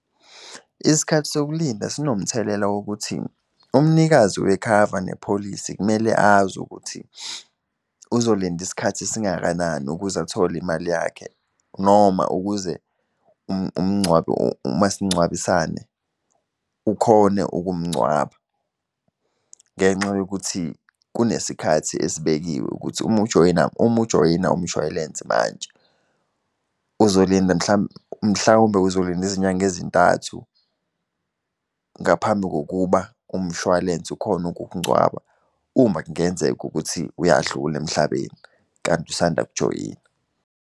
Isikhathi sokulinda sinomthelela wokuthi, umnikazi wekhava nepholisi kumele azi ukuthi uzolinda isikhathi esingakanani ukuze athole imali yakhe, noma ukuze umngcwabo umasingcwabisane ukhone ukumngcwaba. Ngenxa yokuthi, kunesikhathi esibekiwe ukuthi uma ujoyina, uma ujoyina umshwalense manje, uzolinda mhlawumbe uzolinda izinyanga ezintathu ngaphambi kokuba umshwalense ukhone ukukungcwaba, uma kungenzeka ukuthi uyadlula emhlabeni, kanti usanda kujoyina.